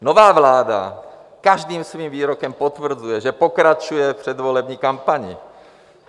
Nová vláda každým svým výrokem potvrzuje, že pokračuje v předvolební kampani.